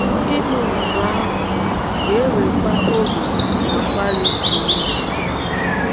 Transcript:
Ime otú ahụ ga - ewekwa oge na mgbalị siri ike.